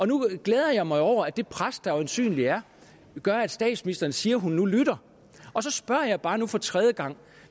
nu glæder jeg mig jo over at det pres der øjensynligt er gør at statsministeren siger at hun nu lytter og så spørger jeg bare nu for tredje gang